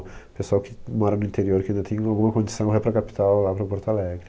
O pessoal que mora no interior, que ainda tem alguma condição, vai para a capital, lá para Porto Alegre.